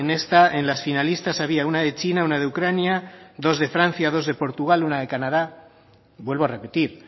esta en las finalistas había una de china una de ucrania dos de francia dos de portugal una de canadá vuelvo a repetir